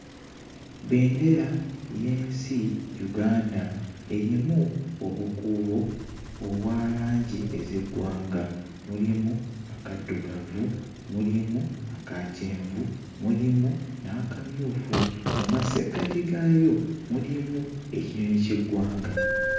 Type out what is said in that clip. Bbendera y'ensi Uganda. Erimu obukuubo obwa langi ez'eggwanga. Mulimu akaddugavu, mulimu aka kyenvu, mulimu n'akamyufu. Mu masekkati gaayo, mulimu ekinyonyi ky'eggwanga.